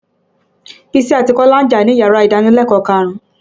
Bísí àti Kọ́lá ń jà níyàrá ìdánilẹ̀kọ̀ọ́ karùn-ún.